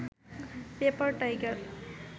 paper tiger